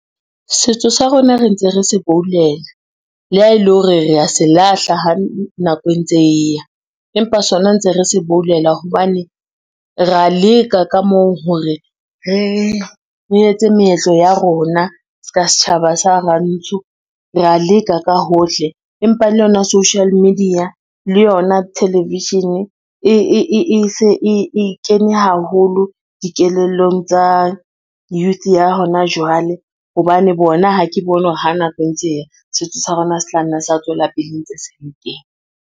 Setso sa rona re ntse re se boulela le ha e le hore re a se lahla ha nako e ntse e ya, empa sona ntse re se boulela, hobane ra leka ka moo hore re etse meetlo ya rona ska setjhaba sa rantsho. Re a leka ka hohle, empa le yona social media le yona television e se e kene haholo dikelellong tsa youth ya hona jwale, hobane bona ha ke bone hore ha nako e ntse e ya setso sa rona se tla nna sa tswela pele ntse se .